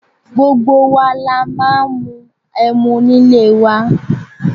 Gbogbo wa la máa ń mú ẹmu nílé wa.